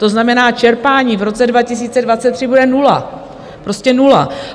To znamená, čerpání v roce 2023 bude nula - prostě nula.